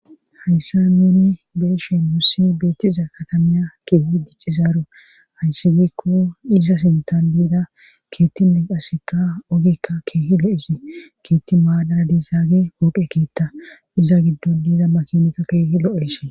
hayssa neni beeshen wussi beettiza katamiya keehi diccizaaro hayssi gikko iza sintan biida keettine qasikka ogikka keehi lo7isi keetti maadara dizaage pooqe kiitta iza giddon diida makinka keehi lo7esi